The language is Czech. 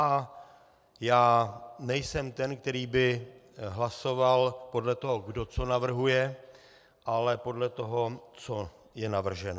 A já nejsem ten, který by hlasoval podle toho, kdo co navrhuje, ale podle toho, co je navrženo.